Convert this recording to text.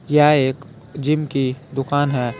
यह एक जिम की दुकान है।